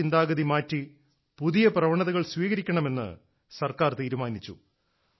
ഈ ചിന്താഗതി മാറ്റി പുതിയ പ്രവണതകൾ സ്വീകരിക്കണമെന്ന് സർക്കാർ തീരുമാനിച്ചു